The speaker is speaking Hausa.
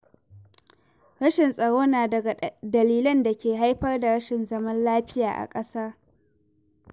Rashin tsaro na daga dalilan da ke haifar da rashin zaman lafiya a ƙasa.